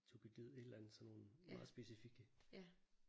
Thukydid et eller andet sådan nogle meget specifikke